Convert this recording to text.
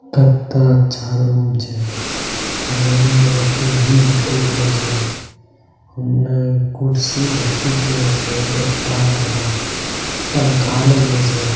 चारो रूम छै इहा उहा एगो टी.वी. जलते रहलो छै होने कुर्सी झलकित रहलो छे गद्दा वाला | पंखा लागिलो छै |